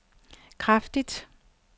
kraftigt